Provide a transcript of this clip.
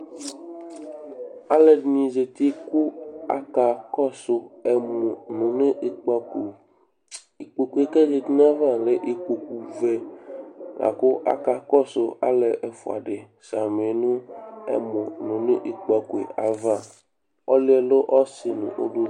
Alʋɛdɩnɩ zati kʋ akakɔsʋ ɛmʋnʋ nʋ ikpǝko Ikpoku yɛ kʋ azati nʋ ayava lɛ ikpokuvɛ la kʋ akakɔsʋ alʋ ɛfʋa dɩ samɩ nʋ ɛmɔnʋ nʋ ikpǝko yɛ ava Ɔlʋ yɛ lɛ ɔsɩ nʋ uluvi